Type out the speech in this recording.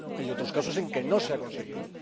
hay otros casos en los que no se ha conseguido.